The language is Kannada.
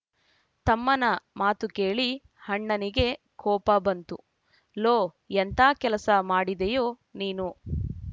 ತಮ್ಮನ ಮಾತು ಕೇಳಿ ಅಣ್ಣನಿಗೆ ಕೋಪ ಬಂತು ಲೋ ಎಂಥಾ ಕೆಲಸ ಮಾಡಿದೆಯೋ ನೀನು